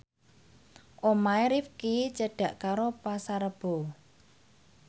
omahe Rifqi cedhak karo Pasar Rebo